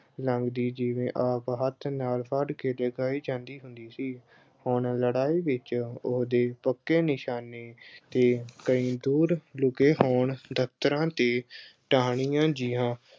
ਲੱਗਦੀ ਜਿਵੇਂ ਆਪ ਹੱਥ ਨਾਲ ਫੜ ਕੇ ਟਿਕਾਈ ਜਾਂਦੀ ਹੁੰਦੀ ਸੀ ਹੁਣ ਲੜਾਈ ਵਿੱਚ ਉਸਦੇ ਪੱਕੇ ਨਿਸ਼ਾਨੇ ਤੇ ਕਈ ਦੂਰ ਲੁਕੇ ਹੋਣ ਦਫ਼ਤਰਾਂ ਤੇ ਟਹਿਣੀਆਂ ਜਿਆਂ